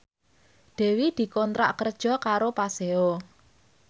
Dewi dikontrak kerja karo Paseo